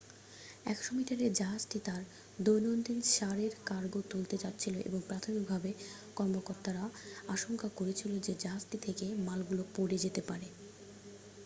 100 মিটারের জাহাজটি তার দৈনন্দীন সার এর কার্গো তুলতে যাচ্ছিল এবং প্রাথমিকভাবে কর্মকর্তারা আশঙ্কা করেছিল যে জাহাজটি থেকে মালগুলো পড়ে যেতে পারে